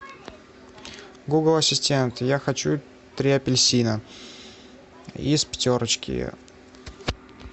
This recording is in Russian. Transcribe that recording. гугл ассистент я хочу три апельсина из пятерочки